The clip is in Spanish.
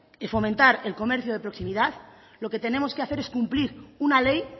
fomentar el comercio de proximidad lo que tenemos que hacer es cumplir una ley